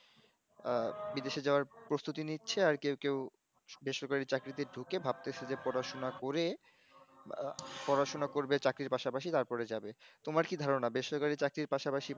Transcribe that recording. বিদেশ এ যাওয়ার প্রস্তুতি নিচ্ছে আর কেউ কেউ বেসরকারি চাকরিতে ঢুকে ভাবতাসে যে পড়াশোনা করে পড়াশোনা করবে চাকরির পাসাপাসি তারপরে যাবে তোমার কি ধারনা বেসরকারি চাকরির পাশাপাশি পড়াশোনা করা দরকার